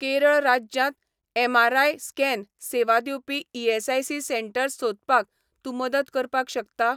केरळ राज्यांत MRI. Scan सेवा दिवपी ईएसआयसी सेटंर्स सोदपाक तूं मदत करपाक शकता?